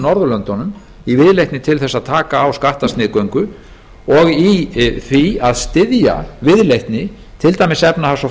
norðurlöndunum í viðleitni til þess að taka á skattasniðgöngu og í því að styðja viðleitni til dæmis efnahags og